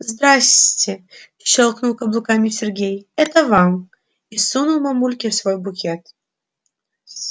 здрассте щёлкнул каблуками сергей это вам и сунул мамульке свой букет